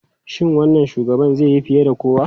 Shin wannan shugaban zai yi fiye kuwa?